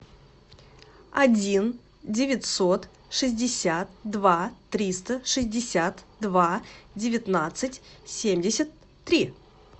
один девятьсот шестьдесят два триста шестьдесят два девятнадцать семьдесят три